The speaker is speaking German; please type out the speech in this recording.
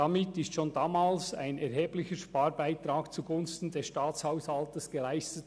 Damit wurde schon damals ein erheblicher Sparbeitrag zugunsten des Staatshaushaltes geleistet.